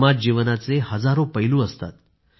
समाज जीवनाचे हजारो पैलू असतात